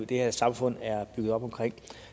det her samfund er bygget op omkring